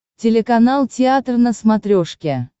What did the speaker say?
телеканал театр на смотрешке